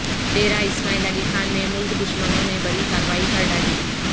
ڈیرہ اسماعیل خان میں ملک دشمنوں نے بڑی کارروائی کر ڈالی